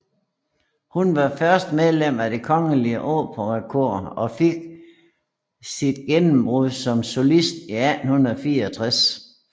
Hun var først medlem af Det Kongelige Operakor og fik sit gennembrud som solist i 1864